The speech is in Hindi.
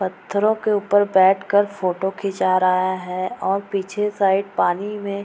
पत्थरों के ऊपर बैठ कर फोटो खींचा रहा है और पीछे साइड पानी में --